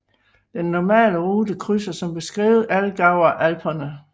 Den normale rute krydser som beskrevet Allgäuer Alperne